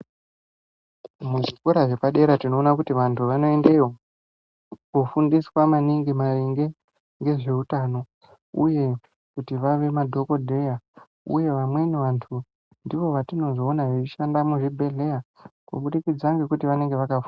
Muzvikora zvepadera tinoona kuti vantu vanoendeyo kufundiswa maningi maringe ngezveutano kuti vave madhokodheya uye vamweni vantu ndivo vatinozoona veishanda muzvibhehleya kubudikidza ngekuti vanenge vakafunda.